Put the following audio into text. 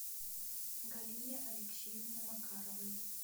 галине алексеевне макаровой